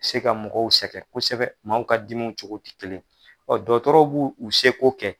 U se ka mɔgɔw sɛgɛn kosɛbɛ maaw ka dimiw cogo tɛ kelen, ɔ dɔgɔtɔrɔw b'u u se k'o kɛ.